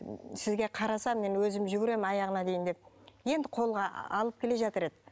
сізге қарасам мен өзім жүгіремін аяғына дейін деп енді қолға алып келе жатыр еді